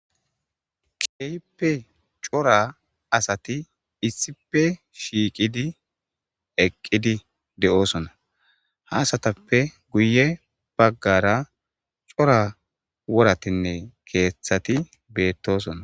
Kehipe cora asati issipe shiiqidi eqidi de'eosona ha asatape guye bagara cora woratinne kethati betosona